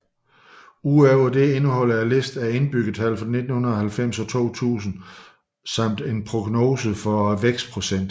Udover det indeholder listen indbyggertallet for 1990 og 2000 samt en prognose for vækstprocenten